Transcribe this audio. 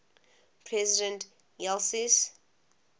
president ulysses s